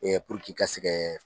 puruk'i ka se kɛ